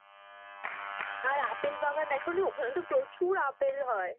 আর apple বাগান দেখনি? ওখানে তো প্রচুর আপেল হয়,